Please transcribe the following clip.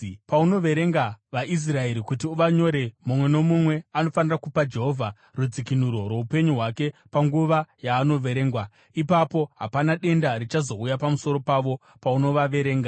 “Paunoverenga vaIsraeri kuti uvanyore, mumwe nomumwe anofanira kupa Jehovha rudzikinuro rwoupenyu hwake panguva yaanoverengwa. Ipapo hapana denda richazouya pamusoro pavo paunovaverenga.